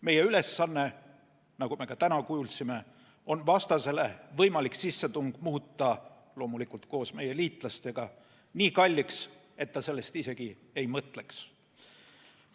Meie ülesanne, nagu me ka täna kuulsime, on muuta – loomulikult koos meie liitlastega – vastasele võimalik sissetung nii kalliks, et ta sellest isegi ei mõtleks.